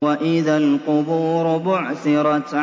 وَإِذَا الْقُبُورُ بُعْثِرَتْ